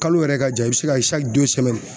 Kalo yɛrɛ ka jan i bɛ se ka